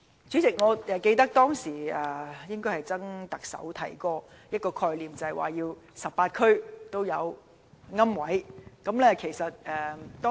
主席，我記得前特首曾蔭權曾經提出 ，18 區都要有龕位供應。